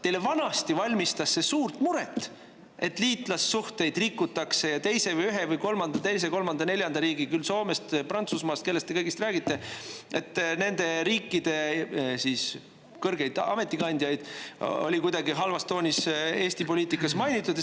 Teile valmistas vanasti suurt muret, et liitlassuhteid rikutakse ja et ühe või teise või kolmanda või neljanda riigi – küll Soome, Prantsusmaa või kelle iganes – kõrgeid ametikandjaid oli kuidagi halvas toonis Eesti poliitikas mainitud.